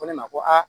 Ko ne ma ko a